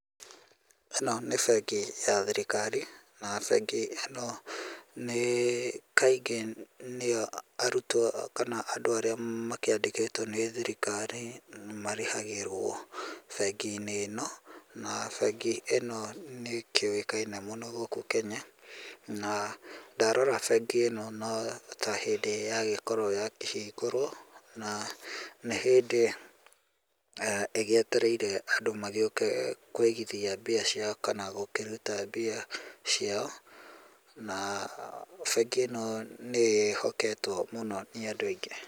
Ĩno nĩ bengi ya thirikari na bengi ĩno nĩ, kaingĩ nĩyo arutwo kana andũ arĩa makĩandĩkĩtwo nĩ thirikari marĩhagĩrwo, bengi-inĩ ĩno na bengi ĩno nĩkĩũĩkaine mũno gũkũ Kenya na ndarora no ta hĩndĩ ya gĩkoragwo ya kĩhingũrwo na nĩ hĩndĩ eeh ĩgĩetereire andũ magĩũke kũigithia mbia ciao kana gũkĩruta mbia ciao na bengi ĩno nĩ ĩhoketwo mũno nĩ andũ aingĩ.